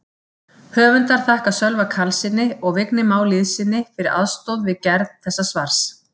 Höfundar þakkar Sölva Karlssyni og Vigni Má Lýðssyni fyrir aðstoð við gerð þessa svars.